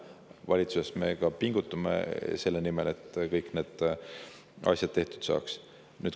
Valitsuses me ka pingutame selle nimel, et kõik need asjad tehtud saaks.